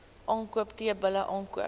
aankoop teelbulle aankoop